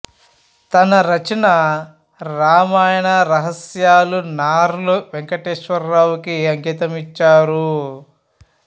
తన రచన రామాయణ రహస్యాలు నార్ల వెంకటేశ్వరరావు కి అంకితం ఇచ్చారు